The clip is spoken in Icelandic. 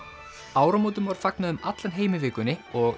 áramótum var fagnað um allan heim í vikunni og